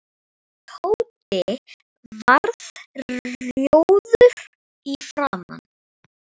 Tóti varð rjóður í framan.